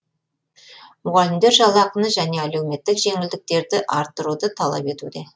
мұғалімдер жалақыны және әлеуметтік жеңілдіктерді арттыруды талап етуде